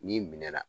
N'i minɛ na